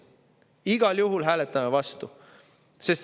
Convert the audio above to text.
Igal juhul hääletame siis vastu.